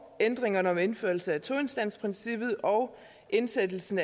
ændringerne om indførelse af toinstansprincippet og indsættelsen